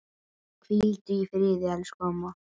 Hvíldu í friði, elsku amma.